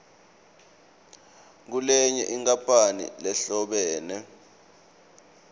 kulenye inkampani lehlobene